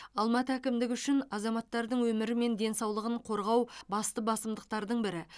алматы әкімдігі үшін азаматтардың өмірі мен денсаулығын қорғау басты басымдықтардың бірі